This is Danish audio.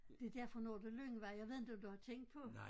Det derfor Nordre Lyngvej jeg ved inte om du har tænkt på